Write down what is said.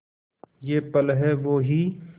ये पल हैं वो ही